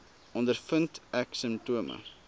ondervind ek simptome